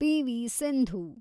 P V. Sindhu